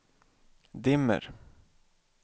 dimmer